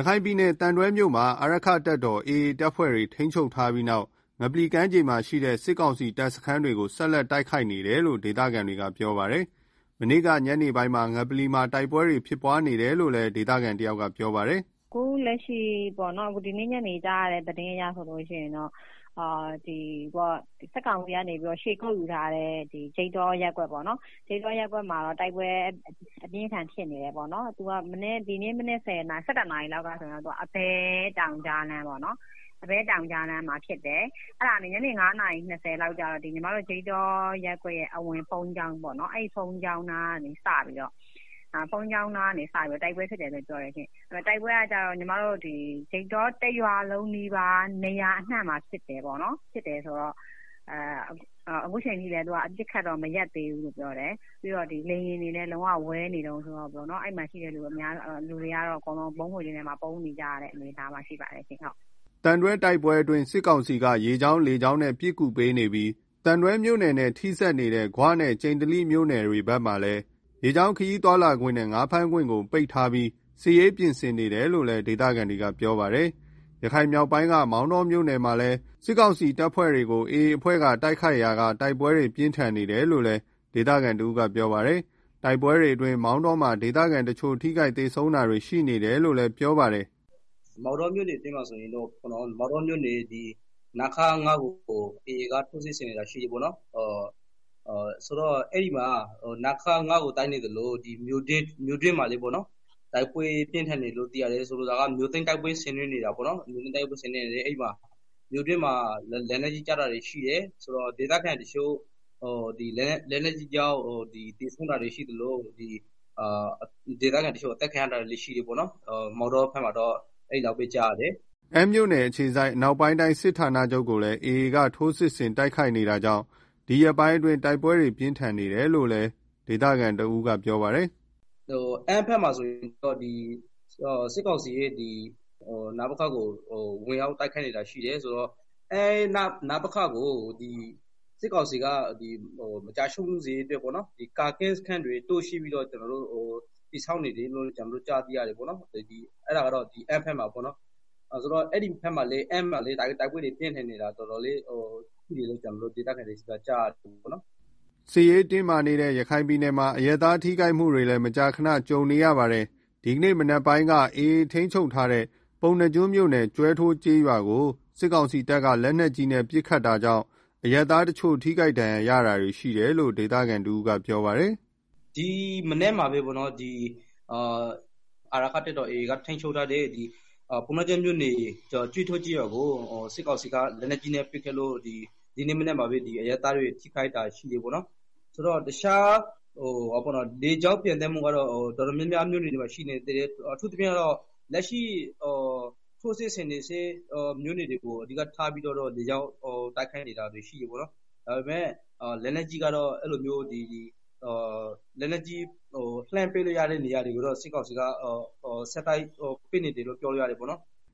ရခိုင်ပြည်နယ် သံတွဲမြို့မှာ အာရက္ခတပ်တော် AA တပ်ဖွဲ့တွေ ထိန်းချုပ်ထားပြီးနောက် ငပလီကမ်းခြေမှာ ရှိနေတဲ့ စစ်ကောင်စီတပ်စခန်းတွေကို ဆက်လက် တိုက်ခိုက်နေတယ်လို့ ဒေသခံတွေက ပြောပါတယ်။ မနေ့က ညနေပိုင်းကစ ငပလီမှာ တိုက်ပွဲတွေ ဖြစ်ပွားနေတယ်လို့လည်း ဒေသခံတယောက်က ပြောပါတယ်။ “ အခုလက်ရှိကြားရတဲ့ သတင်းအရဆိုရင်တော့ စစ်ကောင်စီက ခြေကုတ်ယူထားတဲ့ ဂျိတ်တ္တောရပ်ကွက်ပေါ့နော်၊ တိုက်ပွဲ အပြင်းအထန်ဖြစ်နေတယ်၊ ဒီနေ့မနက် ၁၁နာရီလောက်ကဆိုရင် အဘဲတောင်ကြားလမ်းမှာဖြစ်တယ်၊ အဲဒီကနေ ညနေ ၅နာရီ ၂ဝလောက်မှာ ဒီညီမတို့ဂျိတ္တောရပ်ကွက်ရဲ့ အဝင်ဘုန်းကြီးကျောင်းနားကနေစပြီး တိုက်ပွဲဖြစ်တယ်လို့ ပြောတယ်ရှင့်။ တိုက်ပွဲက ဂျိတ္တောတရွာလုံးနီးပါးနေရာ အနှံ့မှာဖြစ်တယ်လို့ ပြောတယ်၊ အပစ်အခတ်မရပ်သေးဘူး လေယာဉ်တွေနဲ့ လုံးဝပျံနေတယ်၊ အဲမှာရှိတဲ့ လူတွေ အကုန်လုံးက ဗုံးခိုကျင်းထဲမှာ ပုန်းနေရတဲ့ အနေအထားရှိပါတယ်။” သံတွဲတိုက်ပွဲအတွင်း စစ်ကောင်စီက ရေကြောင်း လေကြောင်းတွေနဲ့ ပစ်ကူပေးနေပြီး သံတွဲမြို့နယ်နဲ့ ထိစပ်နေတဲ့ ဂွနဲ့ ကျိန္တိလီမြို့နယ်ဘက်တွေမှာလည်း ရေကြောင်းခရီးသွားလာခွင့်နဲ့ ငါးဖမ်းခွင့်ပိတ်ထားပြီး စစ်ရေးပြင်ဆင်နေတယ်လို့ ဒေသခံတွေကပြောပါတယ်။ ရခိုင်မြောက်ပိုင်းက မောင်တောမြို့နယ်မှာလည်း စစ်ကောင်စီ တပ်ဖွဲ့တွေကို AA အဖွဲ့က တိုက်ခိုက်ရာက တိုက်ပွဲတွေ ပြင်းထန်နေတယ်လို့ ဒေသခံ တဦးကပြောပါတယ်။ တိုက်ပွဲတွေကြောင့် မောင်တောမှာ ဒေသခံတချို့ ထိခိုက်သေဆုံးမှုတွေ ရှိနေတယ်လို့လည်း ပြောပါတယ်။ “ မောင်တောမြို့နယ်ထဲမှာဆိုရင်တော့ နခခ ကို AAက ထိုးစစ်ဆင်တိုက်ခိုက်နေ သလိုမြို့ထဲမှာလည်း တိုက်ပွဲတွေ ဖြစ်နေတယ်၊ မြို့သိမ်းတိုက်ပွဲ ဆင်နွဲနေတာပေါ့ဗျာ၊ မြို့တွင်းမှာ လက်နက်ကြီးကျပြီးတော့ ဒေသခံတချို့ သေဆုံးတာတွေရှိသလို အသတ်ခံရတာတွေလည်းရှိတယ်၊ မောင်တောမှာတော့ အဲလောက်ပဲကြားရတယ်။” အမ်းမြို့နယ် အခြေစိုက် အနောက်ပိုင်းတိုင်းစစ်ဌာနချုပ်ကိုလည်း AA က ထိုးစစ်ဆင်တိုက်ခိုက်နေတာကြောင့် ဒီရက်ပိုင်းတိုက်ပွဲတွေ ပြင်းထန်နေတယ်လို့ ဒေသခံတဦးကပြောပါတယ်။ “ အမ်းဘက်မှာဆိုရင် စစ်ကောင်စီရဲ့ နပခကို ဝင်ရောက်တိုက်ခိုက်နေတာရှိတယ်၊ ဆိုတော့ အမ်း နပခ မကျဆုံးစေရေးအတွက် စစ်ကောင်စီက ကာကင်းစခန်းတွေ တိုးချဲ့ပြီးတော့ တည်ဆောက်နေတယ်လို့ ကျနော်တို့ကြားသိရတယ်၊ ဆိုတော့ အဲဒီမှာတိုက်ပွဲတွေ တော်တော်ပြင်းထန်နေတယ်လို့ ဒေသခံတွေကပြောကြတယ်။” စစ်ရေးတင်းမာနေတဲ့ ရခိုင်ပြည်နယ်မှာ အရပ်သားတွေ ထိခိုက်မှုတွေလည်း မကြာခဏ ကြုံနေရပါတယ်။ ဒီနေ့မနက်ပိုင်းကလည်း AAထိန်းချုပ်ထားတဲ့ ပုဏ္ဏာကျွန်းမြို့နယ် ကျွဲထိုးကျေးရွာကို စစ်ကောင်စီတပ်က လက်နက်ကြီးနဲ့ ပစ်ခတ်ခဲ့တာကြောင့် အရပ်သားတချို့ ထိခိုက်ဒဏ်ရာရတာရှိတယ်လို့ ဒေသခံက ပြောပါတယ်။ “ ဒီမနက်မှာပဲ အာရက္ခတပ်တော်AAက ထိန်ချုပ်ထားတဲ့ ပုဏ္ဏားကျွန်းမြို့နယ် ကျွဲထိုး ကျေးရွာကို စစ်ကောင်စီက လက်နက်ကြီးနဲ့ ပစ်ခတ်လို့ ဒီနေ့မနက်မှာပဲ အရပ်သားတွေ ထိခိုက်တာရှိတယ်၊ လေကြောင်းပျံသန်းမှုကတော့ တော်တော်များများ မြို့နယ်တွေမှာ ရှိနေတယ်၊ အထူးသဖြင့်ကတော့ လက်ရှိထိုးစစ်ဆင်နေဆဲ မြို့နယ်တွေကို လေကြောင်းတိုက်ခိုက်မှု လုပ်နေတာရှိတယ်၊ လက်နက်ကြီးကတော့ လှမ်းပစ်လို့ရတဲ့ နေရာတွေကို စစ်ကောင်စီက ဆက်တိုက်ပစ်နေတယ်လို့ပြောလို့ရတယ်။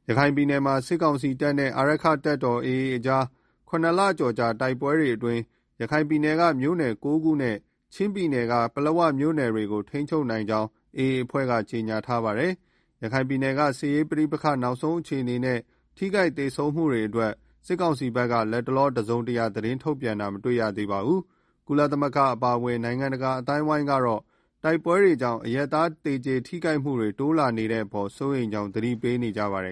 ” ရခိုင်ပြည်နယ်မှာ စစ်ကောင်စီနဲ့ အာရက္ခတပ်တော်AAကြား ၇ လကျော်ကြာ တိုက်ပွဲတွေအတွင်း ရခိုင်ပြည်နယ်က မြို့နယ် ၉ခုနဲ့ ချင်းပြည်နယ်က ပလက်ဝမြို့နယ်တွေကို ထိန်းချုပ်နိုင်ကြောင်း AA အဖွဲ့က ကြေညာထားပါတယ်။ ရခိုင်ပြည်နယ်က စစ်ရေးပဋိပက္ခ နောက်ဆုံးအခြေအနေနဲ့ ထိခိုက်သေဆုံးမှုတွေအတွက် စစ်ကောင်စီက လတ်တလော တစုံတရာ သတင်းထုတ်ပြန်တာတော့ မတွေ့ရသေးပါဘူး။ ကုလသမဂ္ဂ အပါအဝင် နိုင်ငံတကာ အသိုင်းအဝိုင်းကတော့ တိုက်ပွဲတွေကြောင့် အရပ်သား သေကြေထိခိုက်မှုတွေ တိုးလာနေတဲ့အပေါ် စိုးရိမ်ကြောင်း သတိပေးနေကြပါတယ်